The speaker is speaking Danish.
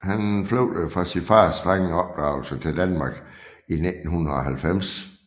Han flygtede fra sin fars strenge opdragelse til Danmark i 1990